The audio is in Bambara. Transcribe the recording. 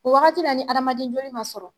O wagati la ni adamaden joli ma sɔrɔ